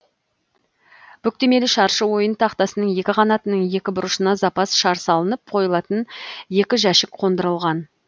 бүктемелі шаршы ойын тақтасының екі қанатының екі бұрышына запас шар салынып қойылатын екі жәшік қондырылған